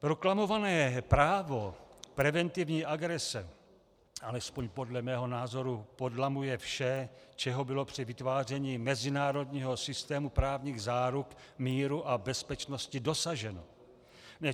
Proklamované právo preventivní agrese, alespoň podle mého názoru, podlamuje vše, čeho bylo při vytváření mezinárodního systému právních záruk míru a bezpečnosti dosaženo.